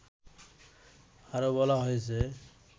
আরো বলা হয়েছে